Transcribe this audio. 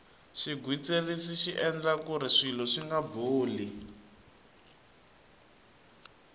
xigwitsirisi xi endla kuri swilo swinga boli